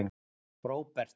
Róbert